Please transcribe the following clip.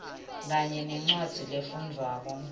kanye nencwadzi lefundvwako